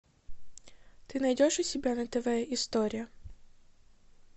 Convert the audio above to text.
ты найдешь у себя на тв история